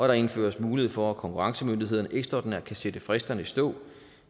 der indføres mulighed for at konkurrencemyndighederne ekstraordinært kan sætte fristerne i stå